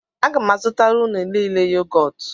Aga m azụtara unu niile yogọt